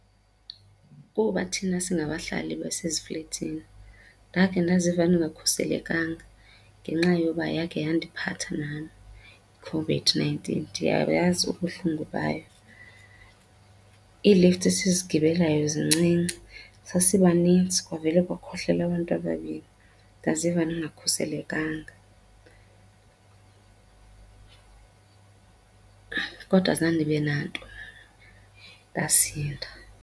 Kuba thina singabahlali baseziflethini ndakhe ndaziva ndingakhuselekanga ngenxa yoba yakhe yandiphatha nam iCOVID-nineteen. Ndiyayazi ubuhlungu bayo. Ii-lift esizigibelayo zincinci, sasibanintsi kwavela kwakhohlela abantu ababini ndaziva ndingakhuselekanga. Kodwa zange ndibe nanto ndasinda.